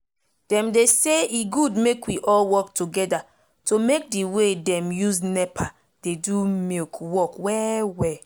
dem dey say e good make we all work togeda to make d way dem use nepa dey do milk work well well